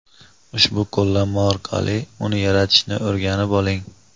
ushbu qo‘llanma orqali uni yaratishni o‘rganib oling.